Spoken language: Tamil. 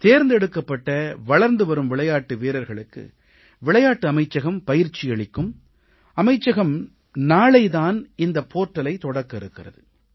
தேர்ந்தெடுக்கப்பட்ட வளர்ந்து வரும் விளையாட்டு வீரர்களுக்கு விளையாட்டு அமைச்சகம் பயிற்சி அளிக்கும் அமைச்சகம் நாளை தான் இந்த போர்ட்டலை தொடக்க இருக்கிறது